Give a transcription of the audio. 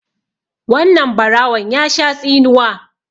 wannan barawon ya Sha tsinuwa